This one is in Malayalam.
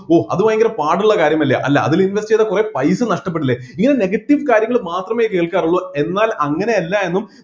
oh അത് ഭയങ്കര പാടുള്ള കാര്യമല്ല അല്ല അതിൽ invest ചെയ്‌താൽ കുറെ പൈസ നഷ്ടപ്പെടില്ലെ ഇങ്ങനെ negative കാര്യങ്ങൾ മാത്രമെ കേൾക്കാറുള്ളു എന്നാൽ അങ്ങനെ അല്ല എന്നും